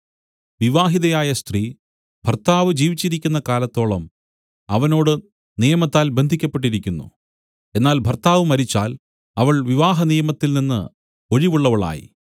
വിവാഹിതയായ സ്ത്രീ ഭർത്താവ് ജീവിച്ചിരിക്കുന്ന കാലത്തോളം അവനോട് നിയമത്താൽ ബന്ധിയ്ക്കപ്പെട്ടിരിക്കുന്നു എന്നാൽ ഭർത്താവ് മരിച്ചാൽ അവൾ വിവാഹനിയമത്തിൽനിന്ന് ഒഴിവുള്ളവളായി